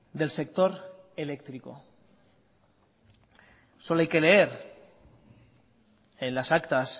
del sector eléctrico solo hay que leer en las actas